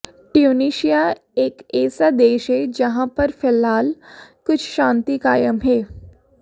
Tunisia एक ऐसा देश है जहां पर फिलहाल कुछ शांति कायम है